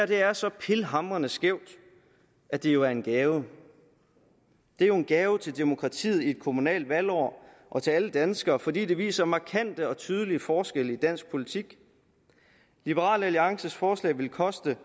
det her er så pilhamrende skævt at det jo er en gave det er en gave til demokratiet i et kommunalt valgår og til alle danskere fordi det viser markante og tydelige forskelle i dansk politik liberal alliances forslag vil koste